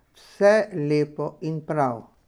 Vse lepo in prav.